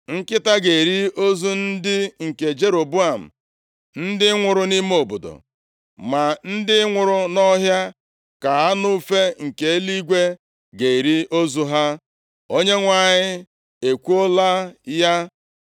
Nkịta ga-eri ozu ndị nke Jeroboam ndị nwụrụ nʼime obodo, ma ndị nwụrụ nʼọhịa ka anụ ufe nke eluigwe ga-eri ozu ha. Onyenwe anyị ekwuola ya.’